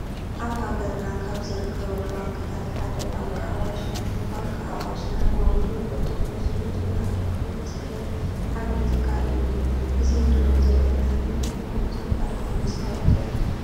አብ ሃገርና ካብ ዝርከቡ ባክታት ሓደ ባንኪ አዋሽ እዩ። ባንኪ አዋሽ ንዓማዊሉ ቁሉጡፉን ሱሉጥን አገልግሎት ዝህብ ዓብይ ትካል እዩ። እዚ እንሪኦ ዘለና ንባንኮም ዘፋልጥ መስታወቂያ እዩ።